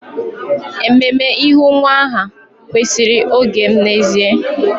Ememe ịhu nwa aha kwesịrị oge m n'ezie